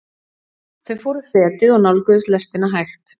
Þau fóru fetið og nálguðust lestina hægt.